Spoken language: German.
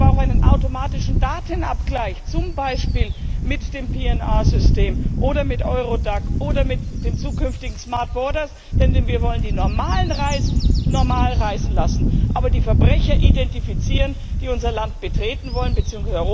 Dann bräuchte es aber auch einen automatischen Datenabgleich, zum Beispiel mit dem PNR System oder mit Eurodac oder mit dem zukünftigen Paket Smart Borders, denn wir wollen die normalen Reisenden normal reisen lassen, aber die Verbrecher identifizieren, die unser Land bzw.